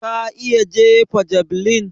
Ka iya jefa javeline?